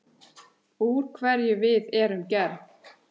Úr hverju við erum gerð.